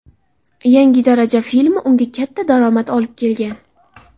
Yangi daraja” filmi unga katta daromad olib kelgan.